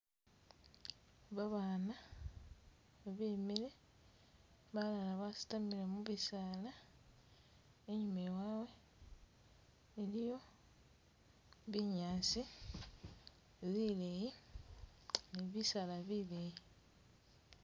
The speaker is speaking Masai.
Babana bemile balala basitamile mubisala inyuma wawe iliyo binyasi bileyi ni'bisala bileyii